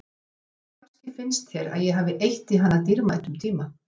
Kannski finnst þér að ég hafi eytt í hana dýrmætum tíma.